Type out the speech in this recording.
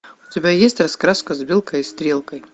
у тебя есть раскраска с белкой и стрелкой